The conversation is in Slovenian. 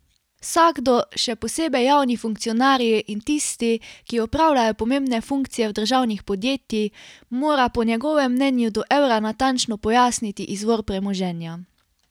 Vsakdo, še posebej javni funkcionarji in tisti, ki opravljajo pomembne funkcije v državnih podjetij, mora po njegovem mnenju do evra natančno pojasniti izvor premoženja.